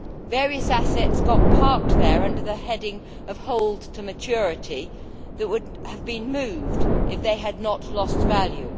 Various assets got parked there, under the heading of Hold to Maturity, which would have been moved if they had not lost value.